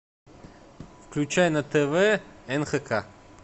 включай на тв нхк